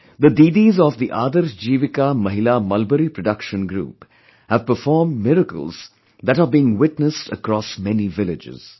The Didis of the 'Adarsh Jeevika Mahila Mulberry Production Group' have performed miracles that are being witnessed across many villages